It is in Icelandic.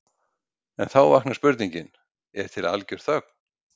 En þá vaknar spurningin: Er til algjör þögn?